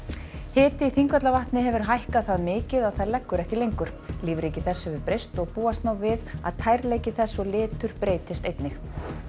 hiti í Þingvallavatni hefur hækkað það mikið að það leggur ekki lengur lífríki þess hefur breyst og búast má við að tærleiki þess og litur breytist einnig